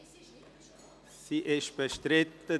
– Sie ist bestritten.